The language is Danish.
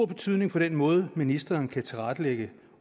betydning for den måde ministeren kan tilrettelægge